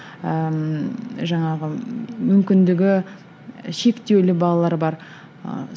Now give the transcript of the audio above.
ыыы жаңағы мүмкіндігі шектеулі балалар бар ы